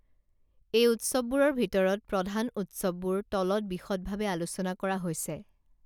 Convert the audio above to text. এই ঊৎসৱ বোৰৰ ভিতৰত প্ৰধান ঊৎসৱবোৰ তলত বিষদ ভাবে আলোচনা কৰা হৈছে